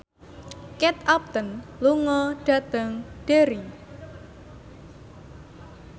Kate Upton lunga dhateng Derry